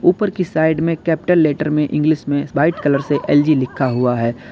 ऊपर की साइड में कैपिटल लेटर में इंग्लिश में व्हाइट कलर से एल_जी लिखा हुआ है।